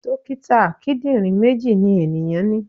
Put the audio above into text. Dókítà kíndìnrín méjì ni ènìyàn ní.